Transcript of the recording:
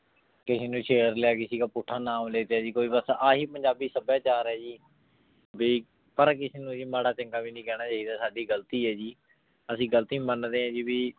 ਕਿਸੀ ਨੂ ਛੇਰ ਲਾਯਾ ਕਿਸੀ ਕਾ ਪੁਥ ਨਾਮ ਲੇਟੀ ਜੀ ਅਹਿ ਬਾਸ ਪੰਜਾਬੀ ਸਭ੍ਯਾਚਾਰ ਹੈ ਜੀ ਭੀ ਬਾਲਾ ਕਿਸੇ ਨੂ ਮਰਾ ਚੰਗਾ ਵੀ ਨਾਈ ਕਹਨਾ ਚੀ ਦਾ ਸਾਡੀ ਗਲਤੀ ਆਯ ਜੀ ਅਸੀਂ ਗਲਤੀ ਮੰਡੇ ਆਂ ਜੀ ਭੀ